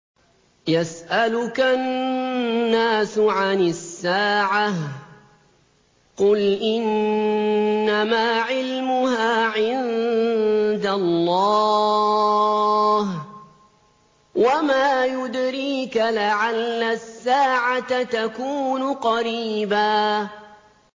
يَسْأَلُكَ النَّاسُ عَنِ السَّاعَةِ ۖ قُلْ إِنَّمَا عِلْمُهَا عِندَ اللَّهِ ۚ وَمَا يُدْرِيكَ لَعَلَّ السَّاعَةَ تَكُونُ قَرِيبًا